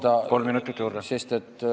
Palun, kolm minutit juurde!